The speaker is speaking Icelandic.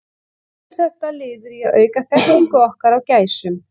Allt er þetta liður í að auka þekkingu okkar á gæsum.